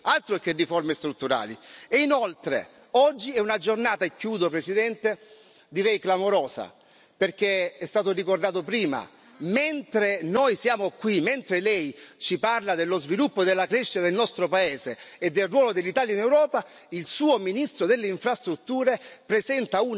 Inoltre, oggi è una giornata direi clamorosa perché è stato ricordato prima mentre noi siamo qui, mentre Lei ci parla dello sviluppo e della crescita del nostro paese e del ruolo dell'Italia in Europa, il suo ministro delle Infrastrutture presenta una fantomatica relazione